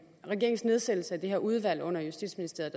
regeringens nedsættelse af det her udvalg under justitsministeriet